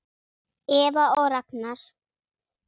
Eva og Ragnar.